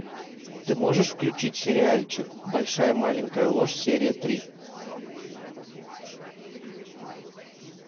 ты можешь включить сериальчик большая маленькая ложь серия три